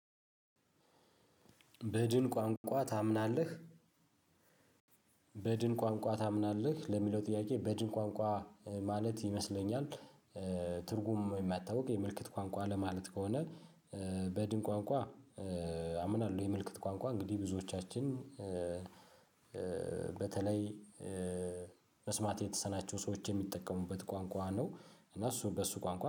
በድን ቋንቋ ታምናለህ? በድን ቋንቋ ታምናለህ ለሚለው ጥያቄ በድን ቋንቋ ማለት ይመስለኛል ትርጉም የማታውቅ የምልክት ቋንቋ ለማለት ከሆነ። በድን ቋንቋ አምናለሁ። የምልክት ቋንቋ እንግዲህ ብዙዎቻችን በተለይ መስማት የተሳናቸው ሰዎች የሚጠቀሙበት ቋንቋ ነው። እነሱ በሱ ቋንቋ